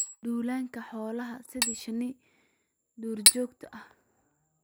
Duulaanka xoolaha sida shinni duurjoogta ah.